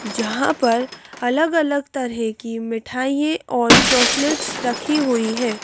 जहां पर अलग-अलग तरह की मिठाइए और चॉकलेट्स रखी हुई हैं।